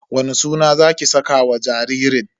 Wani suna zaki saka wa jaririn?